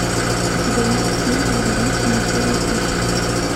у тебя есть фильм великий мышиный сыщик